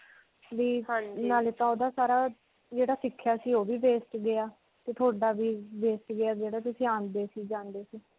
ਵੀ ਨਾਲੇ ਤਾਂ ਓਹਦਾ ਸਾਰਾ ਜਿਹੜਾ ਸਿੱਖਿਆ ਸੀ ਓਹ ਵੀ waste ਗਿਆ ਤੇ ਤੁਹਾਡਾ ਵੀ waste ਗਿਆ ਜਿਹੜਾ ਤੁਸੀਂ ਆਉਂਦੇ ਸੀ ਜਾਉਂਦੇ ਸੀ.